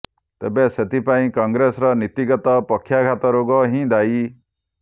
ତେବେ ସେଥିପାଇଁ କଂଗ୍ରେସର ନୀତିଗତ ପକ୍ଷାଘାତ ରୋଗ ହିଁ ଦାୟୀ